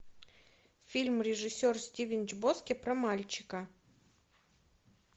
фильм режиссер стивен чбоски про мальчика